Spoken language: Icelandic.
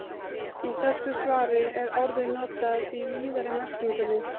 Í þessu svari er orðið notað í víðari merkingunni.